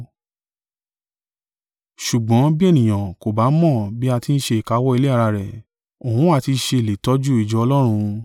Ṣùgbọ́n bí ènìyàn kò bá mọ̀ bí a ti ń ṣe ìkáwọ́ ilé ara rẹ̀, òun ó ha ti ṣe lè tọ́jú ìjọ Ọlọ́run?